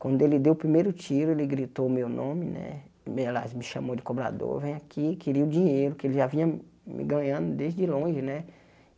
Quando ele deu o primeiro tiro, ele gritou o meu nome né, bem aliás me chamou de cobrador, vem aqui, queria o dinheiro que ele já vinha me ganhando desde longe né.